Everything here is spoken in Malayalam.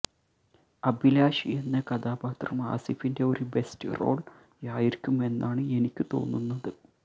അഭിലാഷ് എന്ന കഥാപാത്രം ആസിഫിന്റെ ഒരു ബെസ്റ്റ് റോൾ ആയിരിക്കുമെന്നാണ് എനിക്കു തോന്നുന്നത്